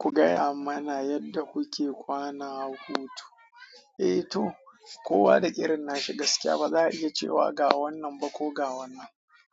Ku gaya mana yadda kuke kwana a hutu. Eh to kowa da irin nashi gaskiya ba za a iya cewa ga wannan ba ko ga wannan.